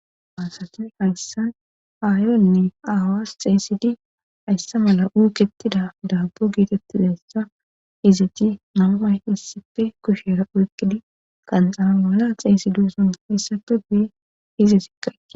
maasatine hayssan aayonne awas xeysidi hayssa mala uuketida daabo giitettizayssa iziti nammay issife kushera oykqidi qanxana mala xeysiduson issape guye hizesikaqe